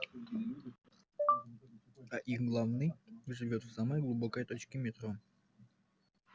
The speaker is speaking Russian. а их главный живёт в самой глубокой точке метро